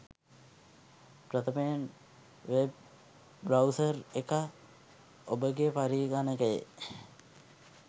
ප්‍රථමයෙන් web browser එක ඔබගේ පරිඝනකයේ